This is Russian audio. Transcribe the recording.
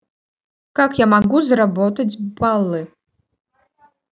как я могу заработать баллы